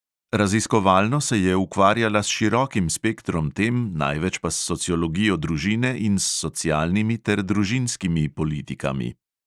Raziskovalno se je ukvarjala s širokim spektrom tem, največ pa s sociologijo družine in s socialnimi ter družinskimi politikami.